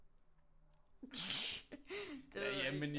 Det ved jeg ikke